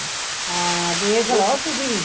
ਹਾਂ ਵੇਖਲੋ ਤੁਸੀਂ